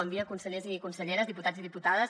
bon dia consellers i conselleres diputats i diputades